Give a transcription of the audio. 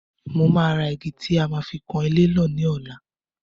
Mó máa ra igi tí a fi máa kan ilé náà ní ọ̀la.